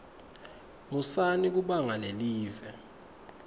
musani kubanga lelive